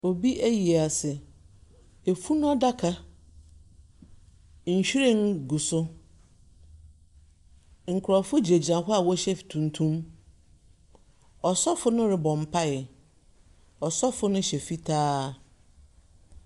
Obi ayiase. Efunu adaka, nhwiren gu so. Nkurɔfo gyinagyina hɔ awɔhyɛ tuntum. Ɔsɔfo no rebɔ mpaeɛ. Ɔsɔfo no hyɛ fitaa.